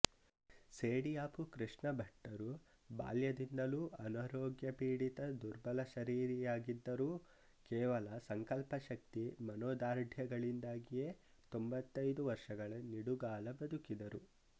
ಸೇಡಿಯಾಪು ಕೃಷ್ಣಭಟ್ಟರು ಬಾಲ್ಯದಿಂದಲೂ ಅನಾರೋಗ್ಯಪೀಡಿತ ದುರ್ಬಲ ಶರೀರಿಯಾಗಿದ್ದರೂ ಕೇವಲ ಸಂಕಲ್ಪಶಕ್ತಿ ಮನೋದಾರ್ಢ್ಯಗಳಿಂದಾಗಿಯೇ ತೊಂಬತ್ತೈದು ವರ್ಷಗಳ ನಿಡುಗಾಲ ಬದುಕಿದರು